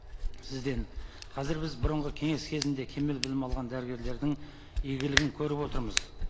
сізден қазір біз бұрынғы кеңес кезінде кемел білім алған дәрігерлердің игілігін көріп отырмыз